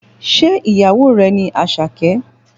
Ṣé ìyàwó rẹ ni Àṣàkẹ́?